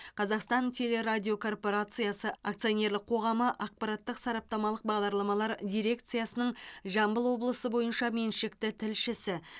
қазақстан телерадиокорпорациясы акционерлік қоғамы ақпараттық сараптамалық бағдарламалар дирекциясының жамбыл облысы бойынша меншікті тілшісі